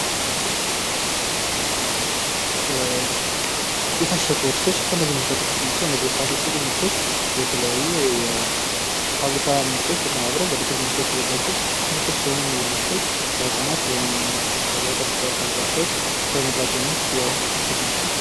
የታሸጉ ምርቶች ከነዚህ ምርቶች ተጠቃሽ ናቸው። እነዚህ የታሸጉ ምርቶች የተለያዩ ፋብሪካ ምርቶች በዱቄት መልኩ የተዘጋጁ ምርቶች ሲሆነ ለህጻናት ተመራጭ የሆኑ ምርቶች ናቸው።